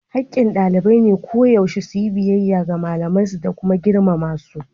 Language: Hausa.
Hakkin ɗalibai a koyaushe su yi biyayya ga malamansu da kuma girmama wasu.